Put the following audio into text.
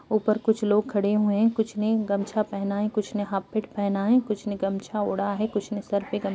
ऊपर कुछ लोग खड़े हुए है कुछ ने गमछा पहना है कुछ ने हापीट पहना है कुछ ने गमछा ओड़ा है कुछ ने सर पे --